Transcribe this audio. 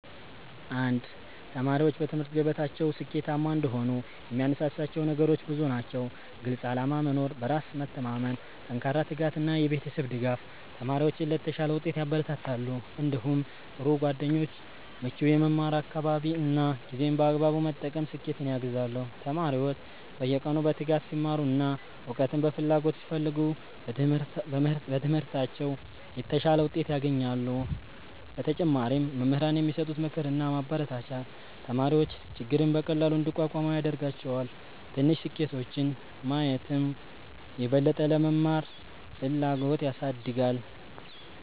1ተማሪዎች በትምህርት ገበታቸው ስኬታማ እንዲሆኑ የሚያነሳሳቸው ነገሮች ብዙ ናቸው። ግልፅ ዓላማ መኖር፣ በራስ መተማመን፣ ጠንካራ ትጋት እና የቤተሰብ ድጋፍ ተማሪዎችን ለተሻለ ውጤት ያበረታታሉ። እንዲሁም ጥሩ ጓደኞች፣ ምቹ የመማር አካባቢ እና ጊዜን በአግባቡ መጠቀም ስኬትን ያግዛሉ። ተማሪዎች በየቀኑ በትጋት ሲማሩ እና እውቀትን በፍላጎት ሲፈልጉ በትምህርታቸው የተሻለ ውጤት ያገኛሉ። በተጨማሪም መምህራን የሚሰጡት ምክርና ማበረታቻ ተማሪዎች ችግርን በቀላሉ እንዲቋቋሙ ያደርጋቸዋል። ትንሽ ስኬቶችን ማየትም የበለጠ ለመማር ፍላጎት ያሳድጋል።